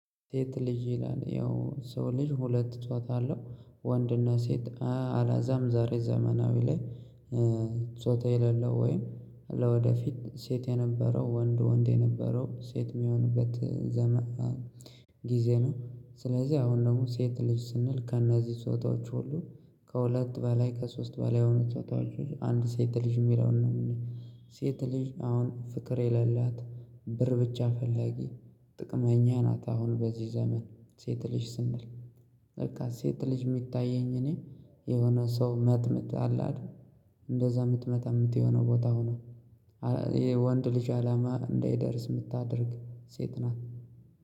ሴት ልጅ ይላል ያው ሰው ልጅ ሁለት ጾታ አለው ወንድና ሴት አለዛም ዛሬ ዘመናዊ ላይ ጾታ የሌለው ወይም ለወደፊት ሴት የነበረው ወንድ ወንድ የነበረው ሴት እሚሆንበት ዘመን ጊዜ ነው። ስለዚህ አሁን ደግሞ ሴት ልጅ ስንል ከእነዚህ ጾታዎች ሁሉ ከሁለት በላይ ከሶስት በላይ የሆኑ ጾታዎች ውስጥ አንድ ሴት ልጅ እሚለውን ነው። ሴት ልጅ አሁን ፍቅር የሌላት ብር ብቻ ፈላጊ ጥቅመኛ ናት። አሁን በዚህ ዘመን ሴት ልጅ ስንል በቃ ሴት ልጅ እሚታየኝ እኔ የሆነ ሰው መጥምጣ አለ። አይደል እንደዛ እምትመጠምጥ የሆነ ቦታ ሆና። ይሄ ወንድ ልጅ አላማ እንዳይደርስ እምታደርግ ሴት ናት